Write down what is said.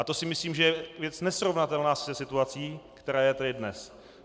A to si myslím, že je věc nesrovnatelná se situací, která je tady dnes.